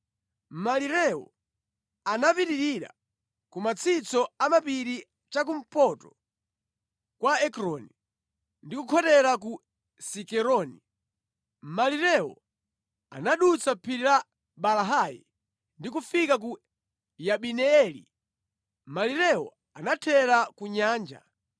Malirewo anapitirira kumatsitso a mapiri chakumpoto kwa Ekroni, ndi kukhotera ku Sikeroni. Malirewo anadutsa phiri la Baalahi ndi kufika ku Yabineeli. Malirewo anathera ku nyanja.